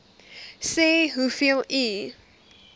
sê hoeveel u